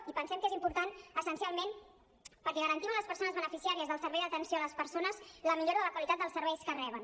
i pensem que és important essencialment perquè garantim a les persones beneficiàries del servei d’atenció a les persones la millora de la qualitat dels serveis que reben